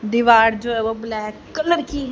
दीवार जो है वह ब्लैक कलर की--